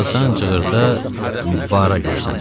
Bir azdan cığırda Bara görsəndi.